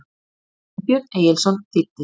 Sveinbjörn Egilsson þýddi.